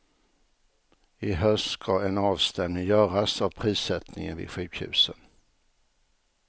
I höst ska en avstämning göras av prissättningen vid sjukhusen.